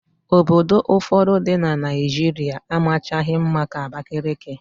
Obodo ụfọdụ dị na Naịjirịa amachaghị mma ka Abakaliki.